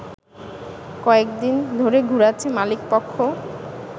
কয়েকদিন ধরে ঘুরাচ্ছে মালিকপক্ষ